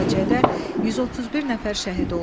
Bu faciədə 131 nəfər şəhid oldu.